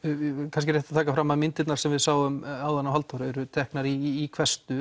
kannski rétt að taka það fram að myndirnar sem við sáum áðan af Halldóru eru teknar í